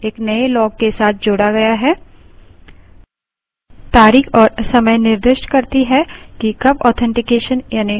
तारीख और समय निर्दिष्ट करती है कि कब authentication यानि प्रमाणीकरण विफल हुई है